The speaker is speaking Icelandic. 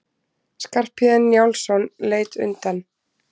Skarphéðinn Njálsson leit undan.